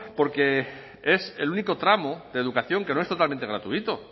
porque es el único tramo de educación que no es totalmente gratuito